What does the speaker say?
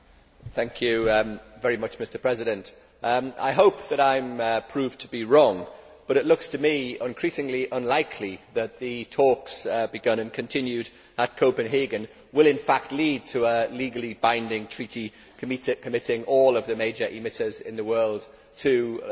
Mr President, I hope that I am proved to be wrong, but it looks to me increasingly unlikely that the talks begun and continued at Copenhagen will, in fact, lead to a legally binding treaty committing all of the major emitters in the world to large emission cuts.